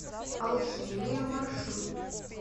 алхимия маршрут